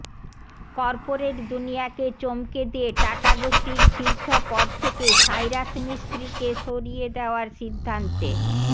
corporate দুনিয়াকে চমকে দিয়ে টাটা গোষ্ঠীর শীর্ষ পদ থেকে সাইরাস মিস্ত্রিকে সরিয়ে দেওয়ার সিদ্ধান্তে